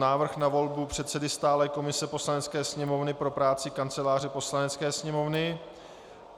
Návrh na volbu předsedy stálé komise Poslanecké sněmovny pro práci Kanceláře Poslanecké sněmovny